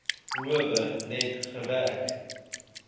howe net gewerk